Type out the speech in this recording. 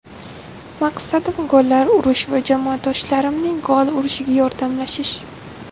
Maqsadim gollar urish va jamoadoshlarimning gol urishiga yordamlashish.